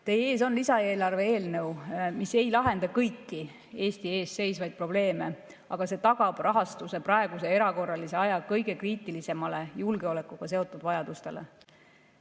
Teie ees on lisaeelarve eelnõu, mis ei lahenda kõiki Eesti ees seisvaid probleeme, aga see tagab rahastuse praeguse erakorralise aja kõige kriitilisematele julgeolekuga seotud vajadustele.